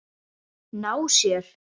Ná sér?